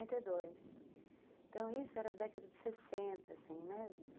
quarenta e Então, isso era década de sessenta assim, né.